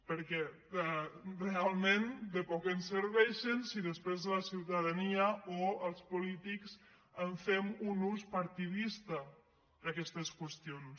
perquè realment de poc em serveixen si després la ciutadania o els polítics en fem un ús partidista d’aquestes qüestions